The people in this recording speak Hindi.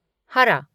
हरा